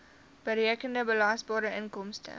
berekende belasbare inkomste